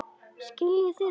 Skiljið þið það?